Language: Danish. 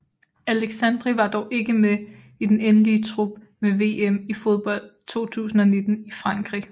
Aleixandri var dog ikke med i den endelige trup ved VM i fodbold 2019 i Frankrig